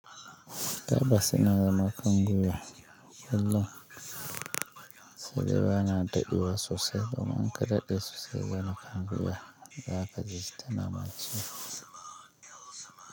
Tabbas ina zama kan gwiya, wallah sai dai bana dadewa sosai domin in ka daɗe sosai za kaga gwiya, za ka ji ta nama ciwo.